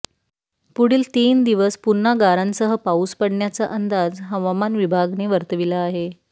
पुढील तीन दिवस पुन्हा गारांसह पाऊस पडण्याचा अंदाज हवामान विभागने वर्तविला आहे